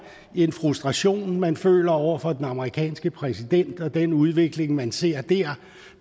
en frustration man føler over for den amerikanske præsident og den udvikling man ser der